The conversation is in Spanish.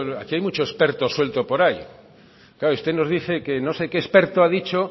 aquí hay mucho experto suelto por ahí claro usted nos dice que no sé qué experto ha dicho